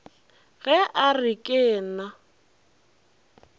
ge a re ke na